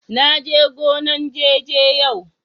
na je gonan " jeje" yau.